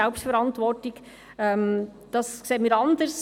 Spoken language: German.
Wir sehen das anders.